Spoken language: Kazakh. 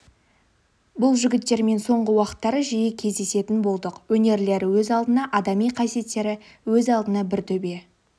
бұл жігіттермен соңғы уақыттары жиі кездесетін болдық өнерлері өз алдына адами қасиеттері өз алдына бір төбе